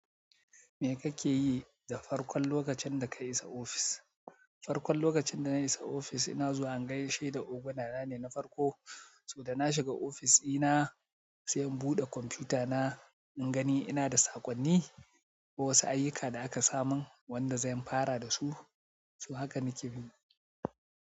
Me kake yi da farkon lokacin da ka isa ofis? Farkon lokacin da na isa ofis, ina zuwa in gaishe da ogunana ne na farko. Sa da na shiga ofis ɗina, sai in buɗe kwamfutana, in gani ina da saƙonni ko wasu ayyuka da aka samin wanda zan fara da su. To haka nake bin.